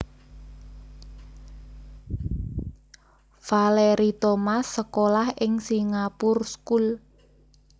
Valerie Thomas sekolah ing Singapure School